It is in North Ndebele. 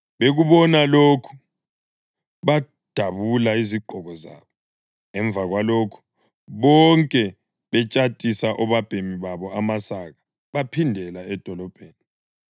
Bekubona lokhu badabula izigqoko zabo. Emva kwalokho bonke betshatisa obabhemi babo amasaka baphindela edolobheni.